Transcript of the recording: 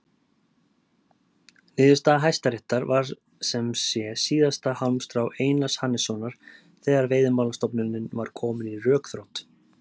Niðurstaða Hæstaréttar var sem sé síðasta hálmstrá Einars Hannessonar þegar Veiðimálastofnunin var komin í rökþrot.